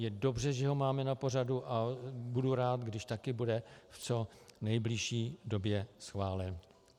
Je dobře, že ho máme na pořadu, a budu rád, když taky bude v co nejbližší době schválen.